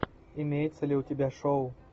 имеется ли у тебя шоу